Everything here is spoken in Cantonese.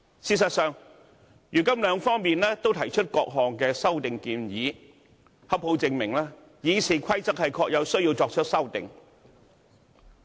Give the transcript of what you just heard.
事實上，如今雙方都提出各項修訂建議，正好證明《議事規則》確實有需要作出修訂。